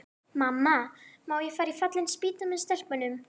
Mamma, má ég fara í Fallin spýta með stelpunum?